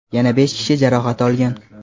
Yana besh kishi jarohat olgan.